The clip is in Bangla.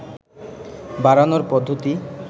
বাড়ানোর পদ্ধতি